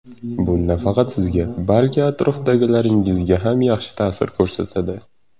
Bu nafaqat sizga, balki atrofdagilaringizga ham yaxshi ta’sir ko‘rsatadi.